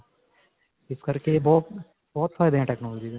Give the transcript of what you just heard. ਇਸ ਕਰਕੇ ਬਹੁਤ, ਬਹੁਤ ਫਾਇਦੇ ਹੈ technology ਦੇ.